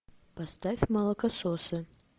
поставь молокососы